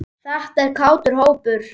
Þetta er kátur hópur.